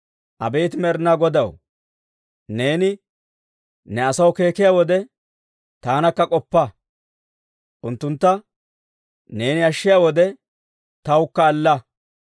Abeet Med'inaa Godaw, neeni ne asaw keekkiyaa wode, taanakka k'oppa; unttuntta neeni ashshiyaa wode, tawukka alla.